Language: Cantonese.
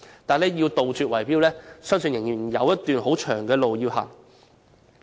但要杜絕圍標，我相信仍要走一段漫長的路。